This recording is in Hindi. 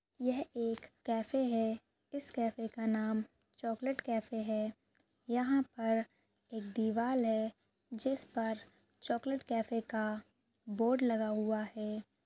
यह एक कॅफे है इस कॅफे का नाम चॉकलेट कॅफे है यहा पर एक दीवाल है जीसपर चॉकलेट कॅफे का बोर्ड लगा हुआ है।